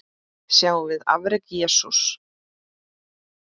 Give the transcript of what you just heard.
Sjáum við afrek Jesú?